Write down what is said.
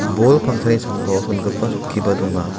bol pangsani sambao chongipa chokkiba donga.